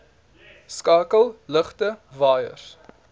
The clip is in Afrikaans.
skakel ligte waaiers